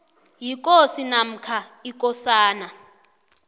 yikosi namkha ikosana